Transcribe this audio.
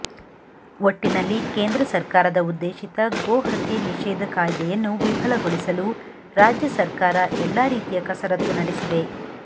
ಒಟ್ಟಿನಲ್ಲಿ ಕೇಂದ್ರ ಸರ್ಕಾರದ ಉದ್ದೇಶಿತ ಗೋ ಹತ್ಯೆ ನಿಷೇಧ ಕಾಯ್ದೆಯನ್ನು ವಿಫಲಗೊಳಿಸಲು ರಾಜ್ಯ ಸರ್ಕಾರ ಎಲ್ಲ ರೀತಿಯ ಕಸರತ್ತು ನಡೆಸಿದೆ